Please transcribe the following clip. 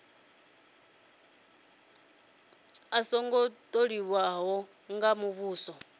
a songo tholiwa nga muvhuso